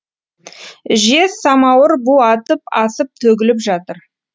жез самауыр бу атып асып төгіліп жатыр